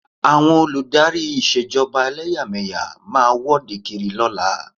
Àwọn olù dárí Ìṣèjọba ẹlẹ́yàmẹ̀yà máa wọ́de kiri.